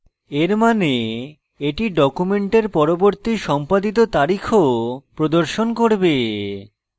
এর means এটি document পরবর্তী সম্পাদিত তারিখও প্রদর্শন করবে